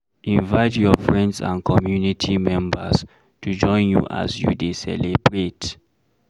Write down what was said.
Invite your friends and community members to join you as you dey celebrate